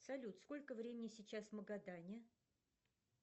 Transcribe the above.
салют сколько времени сейчас в магадане